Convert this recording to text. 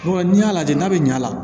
N'i y'a lajɛ n'a bɛ ɲ'a la